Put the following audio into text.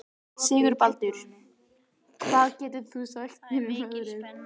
Sigurbaldur, hvað geturðu sagt mér um veðrið?